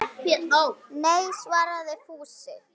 Nei svaraði Fúsi.